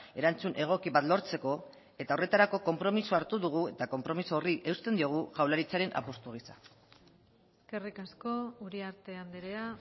erantzun egoki bat lortzeko eta horretarako konpromisoa hartu dugu eta konpromiso horri eusten diogu jaurlaritzaren apustu gisa eskerrik asko uriarte andrea